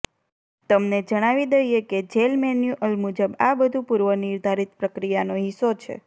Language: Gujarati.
તમને જણાવી દઈએ કે જેલ મેન્યુઅલ મુજબ આ બધુ પૂર્વ નિર્ધારિત પ્રક્રિયાનો હિસ્સો છે